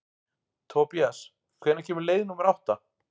Tobías, hvenær kemur leið númer átta?